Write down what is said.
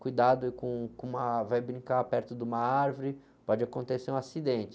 cuidado, aí, com, com, uma, vai brincar perto de uma árvore, pode acontecer um acidente.